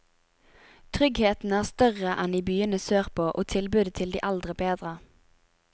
Tryggheten er større enn i byene sørpå, og tilbudet til de eldre bedre.